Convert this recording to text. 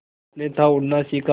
उसने था उड़ना सिखा